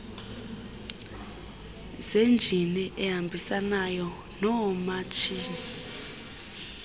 zenjini ehambisanayo noomatshini